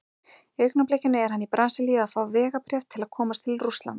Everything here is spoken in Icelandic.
Í augnablikinu er hann í Brasilíu að fá vegabréf til að komast til Rússlands.